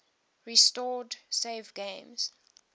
restore saved games